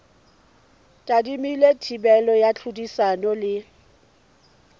tadimilwe thibelo ya tlhodisano le